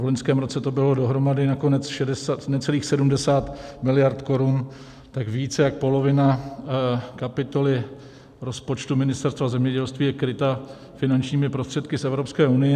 v loňském roce to bylo dohromady nakonec necelých 70 miliard korun, tak více než polovina kapitoly rozpočtu Ministerstva zemědělství je kryta finančními prostředky z Evropské unie.